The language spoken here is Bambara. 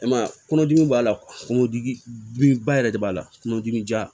I m'a ye kɔnɔdimi b'a la kungo ba yɛrɛ de b'a la kungo dimi ja